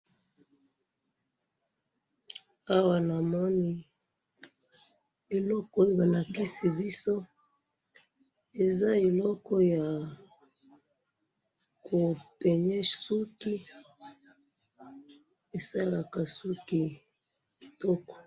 awa namoni eloko oyo ba lakisi biso eza eloko yako pegne suki esalaka suki kitoko